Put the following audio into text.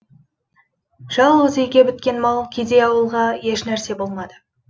жалғыз үйге біткен мал кедей ауьлға ешнәрсе болмады